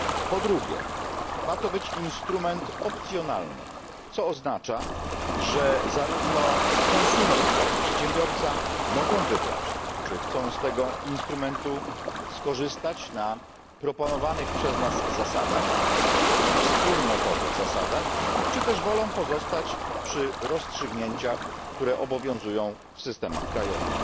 Po drugie, ma to być instrument opcjonalny, co oznacza, że zarówno konsument, jak i przedsiębiorca mogą wybrać, czy chcą z tego instrumentu skorzystać na proponowanych przez nas wspólnotowych zasadach, czy też wolą pozostać przy rozstrzygnięciach, które obowiązują w systemach krajowych.